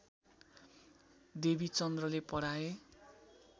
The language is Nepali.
देवीचन्द्रले पढाए